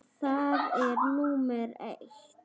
Það er númer eitt.